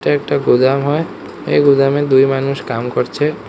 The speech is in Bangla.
এটা একটা গুদাম হয় এই গুদামে দুই মানুষ কাম করছে।